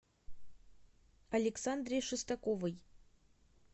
александре шестаковой